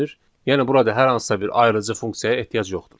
Yəni burada hər hansısa bir ayırıcı funksiyaya ehtiyac yoxdur.